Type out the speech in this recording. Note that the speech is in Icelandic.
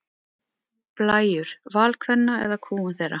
Blæjur: Val kvenna eða kúgun þeirra?